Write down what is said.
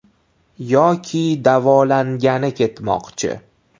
Yoki davolangani ketmoqchi.